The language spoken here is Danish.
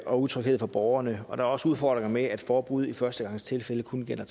og utryghed for borgerne og der er også udfordringer med at forbud i førstegangstilfælde kun gælder